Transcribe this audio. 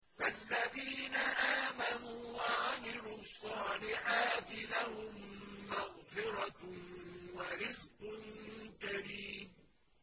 فَالَّذِينَ آمَنُوا وَعَمِلُوا الصَّالِحَاتِ لَهُم مَّغْفِرَةٌ وَرِزْقٌ كَرِيمٌ